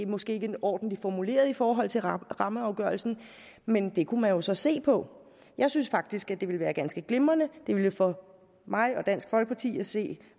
måske ikke er ordentligt formuleret i forhold til rammeafgørelsen men det kunne man jo så se på jeg synes faktisk at det ville være ganske glimrende det ville for mig og dansk folkeparti at se